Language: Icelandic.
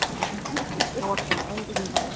Svo sem engan veginn